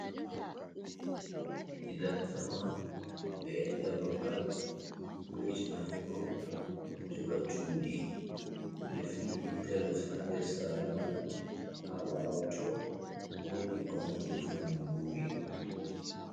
Giɗan sama, ɓe enɗa ɓaɓal, ɗo vo'itina wuro, ɗo joga cuɗi. Ɓeɗo fi intalos ha nɗer sare man. Ha ɓawo to woɗi konɗo rufugo mburi.